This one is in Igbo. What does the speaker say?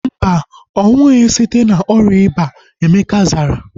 Mba, ọnwụghi site na ọrịa ịba. Emeka zara